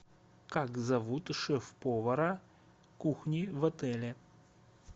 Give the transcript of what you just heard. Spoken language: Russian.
как зовут шеф повара кухни в отеле